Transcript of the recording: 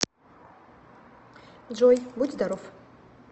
джой будь здоров